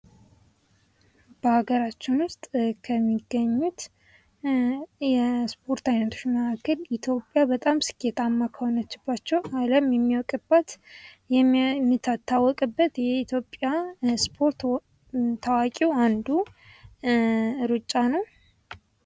በሀገራችን ዉስጥ ከሚገኙት የሰሰፖርት አይነቶች መካከል ኢትዮጵያ በጣም ስኬታማ ከሆነችባቸዉ አለም የሚያዉቅበት የምትታወቅበት የኢትዮጵያ ስፖርት ታዋቂዉ አንዱ ሩጫ ነዉ።